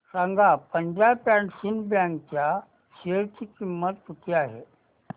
सांगा Punjab and Sind bank च्या share ची किंमत किती आहे